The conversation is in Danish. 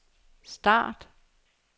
start